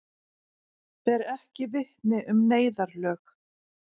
Ber ekki vitni um neyðarlög